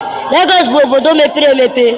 Legọọsị bụ obodo mepere emepe